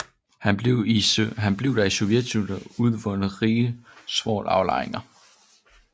Her blev der i sovjettiden udvundet rige svovlaflejringer